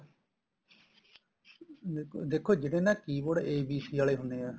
ਦੇਖੋ ਦੇਖੋ ਜਿਹੜੇ ਨਾ keyboard a b c ਵਾਲੇ ਹੁੰਨੇ ਏ